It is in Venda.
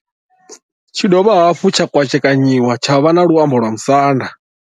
Tshi dovha hafhu tsha kwashekanyiwa tsha vha na luambo lwa musanda.